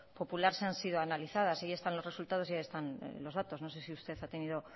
popular sí han sido analizadas y ahí están los resultados y ahí están los datos no sé si usted ha tenido